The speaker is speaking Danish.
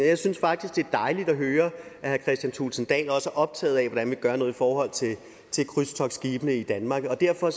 jeg synes faktisk det er dejligt at høre at herre kristian thulesen dahl også er optaget af hvordan vi gør noget i forhold til krydstogtskibe i danmark og derfor